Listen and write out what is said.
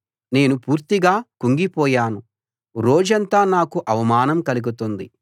నేను పూర్తిగా కుంగిపోయాను రోజంతా నాకు అవమానం కలుగుతుంది